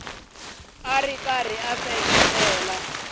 u ri karhi u seketela